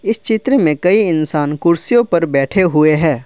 इस चित्र में कई इंसान कुर्सियों पर बैठे हुए हैं।